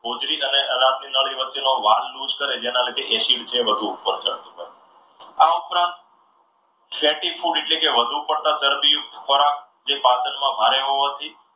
હોજરી અને અનાજની નળી નો વચ્ચેનો વાલ લુઝ કરે શેના લીધે acid જે છે એ વધુ ઉપર ચડતું હોય છે. આ ઉપરાંત ફેટી food એટલે કે વધુ ચરબી યુક્ત ખોરાક જે પાચનમાં ભારે હોવાથી